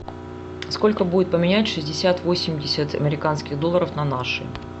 сколько будет поменять шестьдесят восемьдесят американских долларов на наши